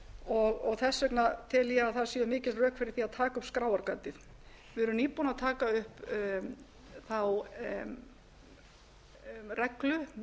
og þess vegna tel ég að það séu mikil rök fyrir því að taka upp skráargatið við erum nýbúin að gefa út reglugerð um transfitusýrur það er mál af sama